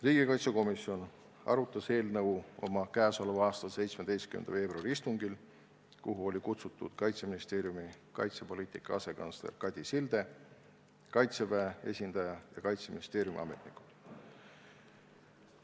Riigikaitsekomisjon arutas seda eelnõu oma käesoleva aasta 17. veebruari istungil, kuhu oli kutsutud Kaitseministeeriumi kaitsepoliitika asekantsler Kadi Silde, Kaitseväe esindaja ja Kaitseministeeriumi ametnikud.